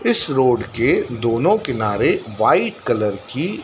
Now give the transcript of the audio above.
इस रोड के दोनों किनारे व्हाईट कलर की--